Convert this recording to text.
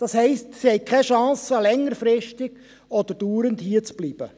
Das heisst, sie haben keine Chance, längerfristig oder dauerhaft hierzubleiben.